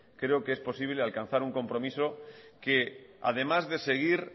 creo que es posible alcanzar un compromiso que además de seguir